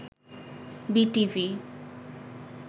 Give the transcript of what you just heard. BTV